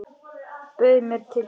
Bauð mér til sín.